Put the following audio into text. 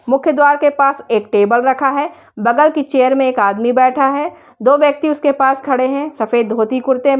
मुख्य द्वार के पास एक टेबल रखा है बगल की चेयर में एक आदमी बैठा है। दो व्यक्ति उसके पास खड़े हैं सफेद धोती कुर्ते में।